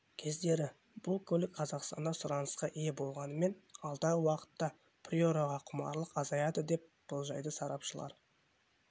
кездері бұл көлік қазақстанда сұранысқа ие болғанымен алдағы уақытта приораға құмарлық азаяды деп болжайды сарапшылар